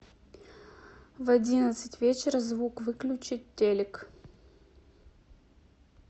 в одиннадцать вечера звук выключить телик